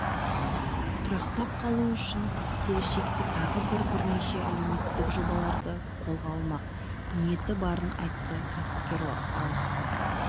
тұрақтап қалуы үшін келешекте тағы бірнеше әлеуметтік жобаларды қолға алмақ ниеті барын айтты кәсіпкер ал